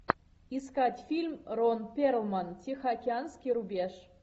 искать фильм рон перлман тихоокеанский рубеж